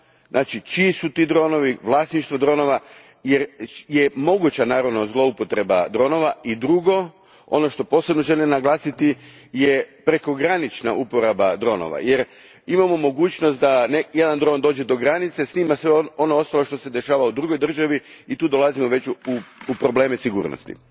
Znači čiji su ti dronovi, vlasništvo dronova jer je moguća naravno zloupotreba dronova. I drugo, ono što posebno želim naglasiti, je prekogranična uporaba dronova jer imamo mogućnost da jedan dron dođe do granice, snima sve ono što se dešava u drugoj državi i tu dolazimo već u probleme sigurnosti.